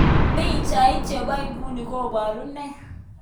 Pichait chepo iguni koparu nee?